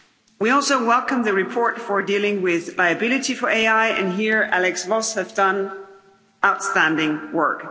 We also welcome the report for dealing with liability for AI, and here Axel Voss has done outstanding work.